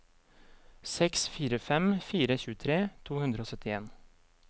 seks fire fem fire tjuetre to hundre og syttien